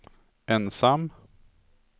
ensam